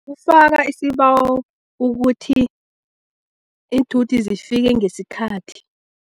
Kufaka isibawo ukuthi iinthuthi zifike ngesikhathi.